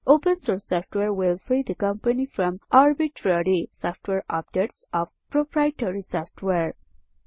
open source software will free the company from arbitrary software updates of proprietary software